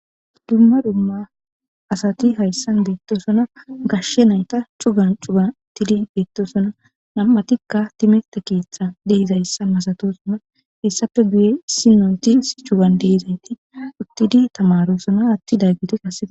Dumma dumma asat haysan betosona. Tamare nayt Cugan cugan utid betosona . Nam'atika timrte kethan dizaysa masatosona . Hesappe guye issi na days cugan Des. Utid tamarosona atidaget qase..